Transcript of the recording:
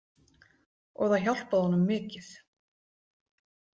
Og það hjálpaði honum mikið.